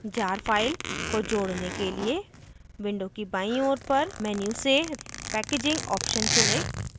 jar file को जोड़ने के लिए window की बाईं ओर पर menu से packaging option चुनें